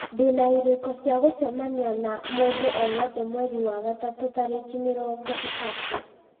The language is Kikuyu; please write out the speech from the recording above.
ndĩna irĩko cia gũcemania na mũndũ o wothe mweri wa gatatũ tarĩki mĩrongo ĩtatũ